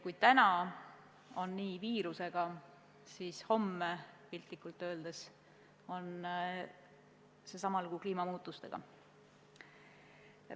Täna on nii viirusega, aga homme, piltlikult öeldes, on sama lugu kliimamuutustega.